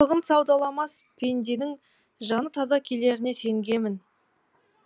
жақсылығын саудаламас пенденің жаны таза келеріне сенгемін